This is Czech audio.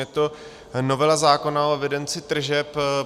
Je to novela zákona o evidenci tržeb.